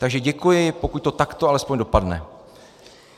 Takže děkuji, pokud to takto alespoň dopadne.